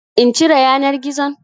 In cire yanar gizon?